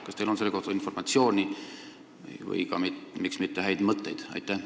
Kas teil on selle kohta informatsiooni või ka häid mõtteid?